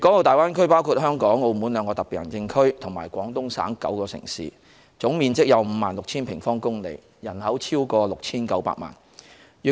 大灣區包括香港和澳門兩個特別行政區，以及廣東省9個城市，總面積達 56,000 平方公里，人口逾 6,900 萬。